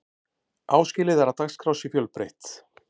áskilið er að dagskrá sé fjölbreytt